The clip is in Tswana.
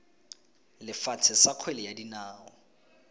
lefatshe sa kgwele ya dinao